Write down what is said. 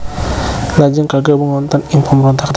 Lajeng kagabung wonten ing pemberontakan Trunajaya